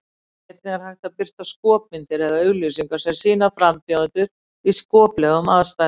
Einnig er hægt að birta skopmyndir eða auglýsingar sem sýna frambjóðendur í skoplegum aðstæðum.